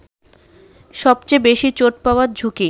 সবচে বেশি চোট পাওয়ার ঝুঁকি